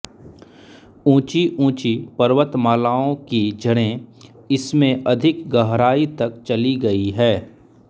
ऊँची ऊँची पर्वतमालाओं की जड़ें इसमें अधिक गहराई तक चली गई है